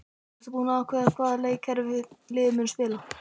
Ertu búinn að ákveða hvaða leikkerfi liðið mun spila?